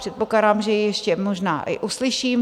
Předpokládám, že ji ještě možná i uslyším.